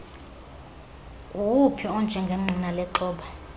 nguwuphi onjengengqina lexhoba